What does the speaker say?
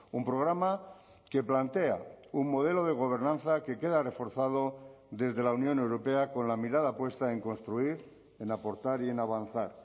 un programa que plantea un modelo de gobernanza que queda reforzado desde la unión europea con la mirada puesta en construir en aportar y en avanzar